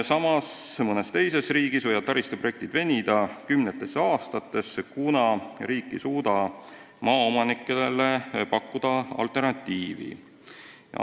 Samas võivad mõnes riigis taristuprojektid venida kümnetesse aastatesse, kuna riik ei suuda maaomanikele head alternatiivi pakkuda.